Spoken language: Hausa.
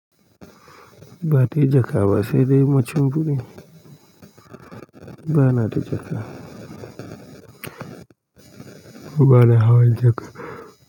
Ba dai jaka ba sai dai mashinfidi ba na da jaka. Ba na hawan jaka.